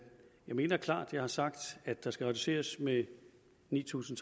mener jeg klart har sagt at der skal reduceres med ni tusind